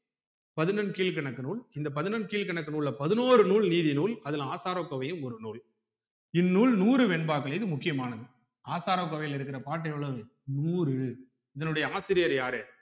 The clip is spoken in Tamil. பதினெண்கீழ்க்கணக்கு நூல் இந்த பதினெண்கீழ்க்கணக்கு நூல்ல பதினோரு நூல் நீதி நூல்அதுல ஆசாரக்கோவையும் ஒரு நூல் இந்நூல் நூறு வெண்பாக்களிலும் முக்கியமானது ஆசாரக்கோவைல இருக்குற பாட்டு எவ்ளோவு நூறு இதனுடைய ஆசிரியர் யாரு